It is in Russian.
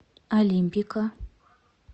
олимпика